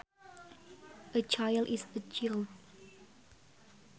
A chile is a child